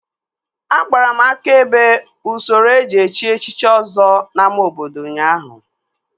Agbara m aka ebe usoro eji echi echichi Ọzọ n'ámá obodo ụnyaahụ